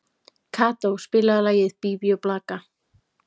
Kató, spilaðu lagið „Bí bí og blaka“.